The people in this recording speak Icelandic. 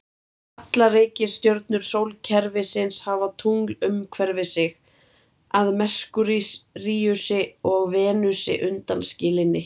Allar reikistjörnur sólkerfisins hafa tungl umhverfis sig, að Merkúríusi og Venusi undanskilinni.